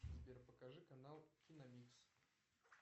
сбер покажи канал киномикс